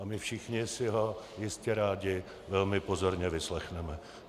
A my všichni si ho jistě rádi velmi pozorně vyslechneme.